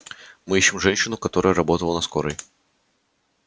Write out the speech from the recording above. мы ищем женщину которая предположительно работала на скорой